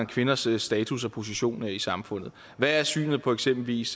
kvinders status og position i samfundet hvad er synet på eksempelvis